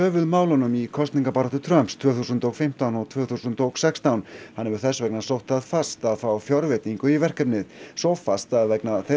höfuðmálunum í kosningabaráttu Trumps tvö þúsund og fimmtán og tvö þúsund og sextán hann hefur þess vegna sótt það fast að fá fjárveitingu í verkefnið svo fast að vegna þeirrar